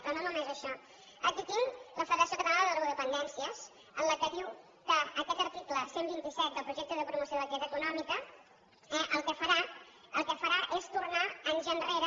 però no només això aquí tinc la federació catalana de drogodependències que diu que aquest article cent i vint set del projecte de promoció de l’activitat econòmica eh el que farà és tornar anys enrere